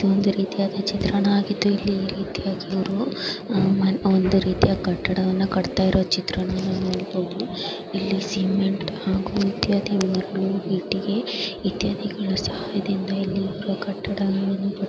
ಒಂದು ರೀತಿಯ ಚಿತ್ರಣವಾಗಿದ್ದು ಇಲ್ಲಿ ಒಂದು ರೀತಿಯ ಇವರು ಅ ಒಂದು ರೀತಿಯ ಕಟ್ಟಡವನ್ನು ಕಟ್ಟುತ್ತಿರುವ ಚಿತ್ರಣವನ್ನು ನೋಡಬಹುದು . ಇಲ್ಲಿ ಸಿಮೆಂಟ್ ಹಾಗೂ ಇತ್ಯಾದಿ ಮರಳು ಇಟ್ಟಿಗೆ ಇತ್ಯಾದಿಗಳ ಸಹಾಯದಿಂದ ಇಲ್ಲಿ ಒಂದು ಕಟ್ಟಡವನ್ನು--